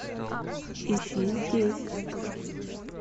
ищи здесь